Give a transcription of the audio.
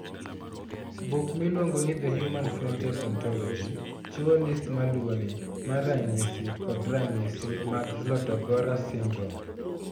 Buk miluongo ni The Human Phenotype Ontology chiwo list ma luwoni mar ranyisi kod ranyisi mag Zlotogora syndrome.